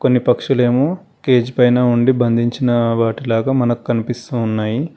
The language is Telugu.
ఈ పక్షులేము కేజీ పైన ఉండి బంధించిన వాటిలాగా మనకు కనిపిస్తూ ఉన్నాయి.